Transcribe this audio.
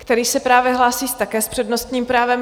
Který se právě hlásí také s přednostním právem.